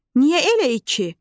Niyə elə iki?